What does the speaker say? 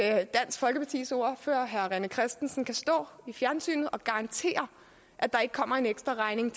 er at dansk folkepartis ordfører herre rené christensen kan stå i fjernsynet og garantere at der ikke kommer en ekstraregning